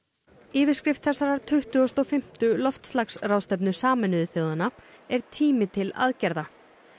yfirskrift þessarar tuttugustu og fimmtu loftslagsráðstefnu Sameinuðu þjóðanna er tími til aðgerða